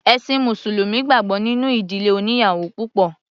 Ẹ̀ṣin mùsùlùmí gbàgbọ́ nínú ìdílé oníyàwò púpọ̀.